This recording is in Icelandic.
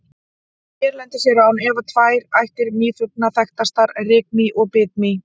Hérlendis eru án efa tvær ættir mýflugna þekktastar, rykmý og bitmý.